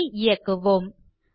குரி ஐ இயக்குவோம்